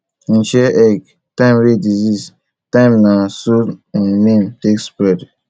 hin share egg time wey disease time na so him name take spread